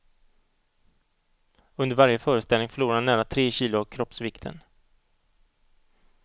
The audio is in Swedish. Under varje föreställning förlorar han nära tre kilo av kroppsvikten.